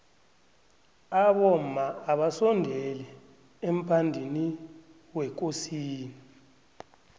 abomma abasondeli emphadwiniwekosini